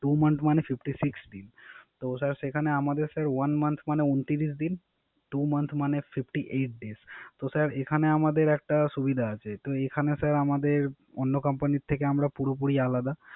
Two month মানে Fifty six দিন। তো সেখানো আমাদের One month মানে উনত্রিশ দিন Two month মানে Fifty eight দিন। তো একানে Sir এখানে আমাদের একটা সুবিধা আছে। এখানে Sir অন্য Company থেকে পুরোপুরি আলাদা